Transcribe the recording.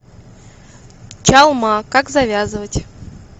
чалма как завязывать